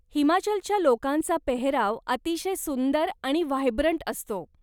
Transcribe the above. हिमाचलच्या लोकांचा पेहराव अतिशय सुंदर आणि व्हायब्रंट असतो.